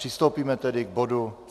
Přistoupíme tedy k bodu